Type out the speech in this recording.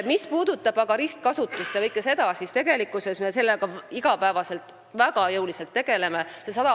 Mis puudutab ristkasutust ja kõike seda, siis me tegeleme sellega väga jõuliselt iga päev.